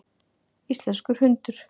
Íslenskur hundur.